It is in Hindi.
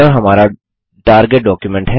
यह हमारा टारगेट डॉक्युमेंट है